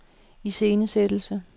iscenesættelse